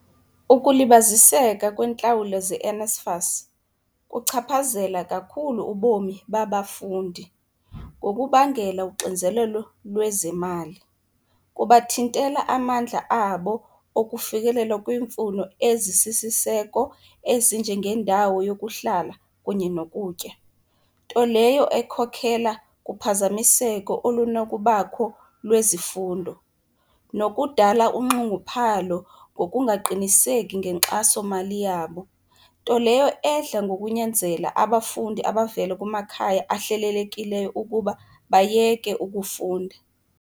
Ukulibaziseka kweentlawulo zeNSFAS kuchaphazela kakhulu ubomi babafundi, ngokubangela uxinzelelo lwezemali. Kubathintela amandla abo okufikelela kwiimfuno ezisisiseko ezinjengendawo yokuhlala kunye nokutya. Nto leyo ekhokhela kuphazamiseko olunokubakho lwezifundo nokudala unxunguphalo ngokungaqiniseki ngenkxasomali yabo, nto leyo edla ngokunyanzela abafundi abavela kumakhaya ahlelelekileyo ukuba bayeke ukufunda.